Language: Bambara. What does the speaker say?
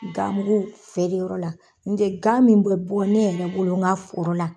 Gamugu feere o la, n de gan min bɛ bɔ ne yɛrɛ bolon ŋa foro la